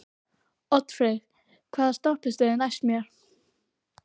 Oddfreyr, hvaða stoppistöð er næst mér?